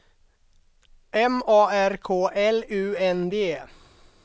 M A R K L U N D